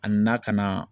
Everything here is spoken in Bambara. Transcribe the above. A na ka na